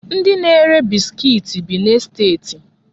Ndi na-ere biskit bi n'esteti.